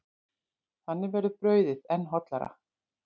Þannig verður brauðið enn hollara.